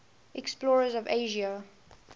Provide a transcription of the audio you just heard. explorers of asia